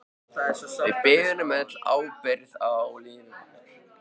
Við berum öll ábyrgð á lífi okkar.